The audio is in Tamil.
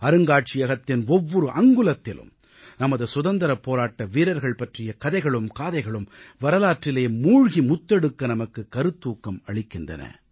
அருங்காட்சியகத்தின் ஒவ்வொரு அங்குலத்திலும் நமது சுதந்திரப் போராட்ட வீரர்கள் பற்றிய கதைகளும் காதைகளும் வரலாற்றிலே மூழ்கி முத்தெடுக்க நமக்குக் கருத்தூக்கம் அளிக்கின்றன